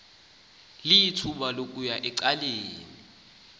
lithuba lokuya ecaleni